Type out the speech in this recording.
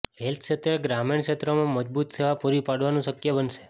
health ક્ષેત્રે ગ્રામીણ ક્ષેત્રોમાં મજબૂત સેવા પૂરી પાડવાનું શક્ય બનશે